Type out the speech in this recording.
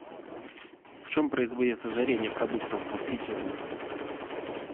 в чем производится жаренье продуктов во фритюрнице